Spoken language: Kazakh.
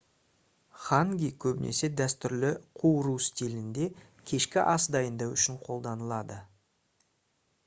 ханги көбінесе дәстүрлі қуыру стилінде кешкі ас дайындау үшін қолданылады